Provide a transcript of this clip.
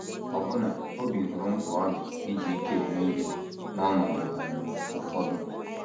Ee, ọbụna Obi hụrụ mkpa ọ dị iji ike eme ihe n’ọnọdụ um ụfọdụ.